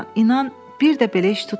İnan, bir də belə iş tutmayacam.